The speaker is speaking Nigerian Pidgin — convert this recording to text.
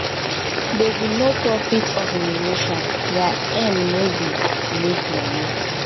dem be noprofit organisation their aim no be to make money